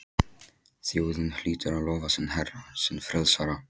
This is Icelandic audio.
Þjóðin hlýtur að lofa sinn herra, sinn frelsara!